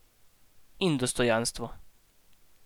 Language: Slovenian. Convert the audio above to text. In dostojanstvo.